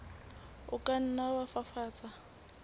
o ka nna wa fafatsa